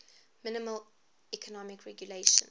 minimal economic regulations